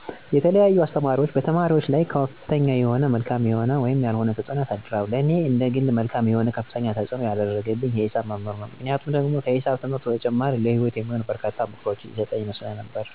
የተለያዩ አስተማሪዎች በተማሪዎች ላይ ከፍተኛ የሆነ መልካም የሆነ ወይም ያልሆነ ተፅዕኖ ያሳድራሉ። ለኔ እንደግል መልካም የሆነ ከፍተኛ ተፅዕኖ ያረገብኝ የሂሳብ መምህር ነው፤ ምክንያቱ ደግሞ ከሂሳብ ትምህርቱ በተጨማሪ ለሂወት የሚሆኑ በርካታ ምክሮችን ይሰጠኝ ስለነበር ነው።